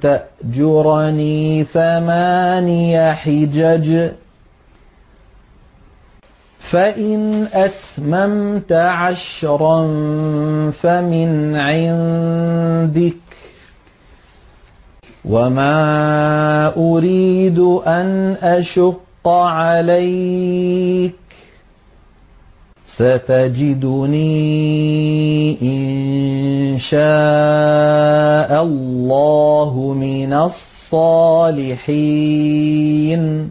تَأْجُرَنِي ثَمَانِيَ حِجَجٍ ۖ فَإِنْ أَتْمَمْتَ عَشْرًا فَمِنْ عِندِكَ ۖ وَمَا أُرِيدُ أَنْ أَشُقَّ عَلَيْكَ ۚ سَتَجِدُنِي إِن شَاءَ اللَّهُ مِنَ الصَّالِحِينَ